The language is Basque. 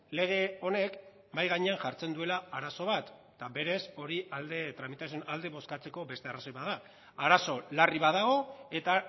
lege honek mahai gainean jartzen duela arazo bat eta berez hori alde tramitazioaren alde bozkatzeko beste arrazoi bat da arazo larri bat dago eta